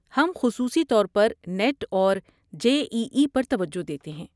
ہم خصوصی طور پر نیٹ اور جے ای ای پر توجہ دیتے ہیں۔